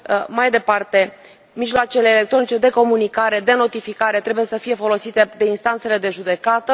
mai departe, mijloacele electronice de comunicare, de notificare trebuie să fie folosite de instanțele de judecată